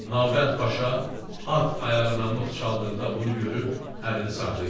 Nalbənd paşa at ayağına mıx çaldıqda bunu görüb əlini saxlayır.